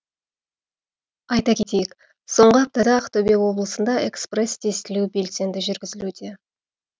айта кетейік соңғы аптада ақтөбе облысында экспресс тестілеу белсенді жүргізілуде